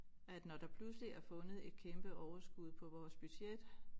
At når der pludseligt er blevet fundet et kæmpe overskud på vores budget